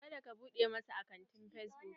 Ka da ka buɗe masa akantin fesbuk!